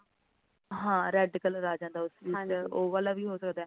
ਹਾਂ red color ਆ ਜਾਂਦਾ ਉਸ ਵਿੱਚ ਉਹ ਵਾਲਾ ਵੀ ਹੋ ਸਕਦਾ